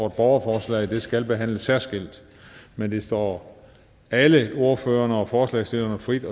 et borgerforslag det skal behandles særskilt men det står alle ordførerne og forslagsstillerne frit